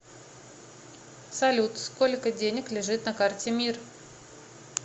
салют сколько денег лежит на карте мир